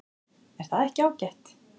Er það ekki ágætt?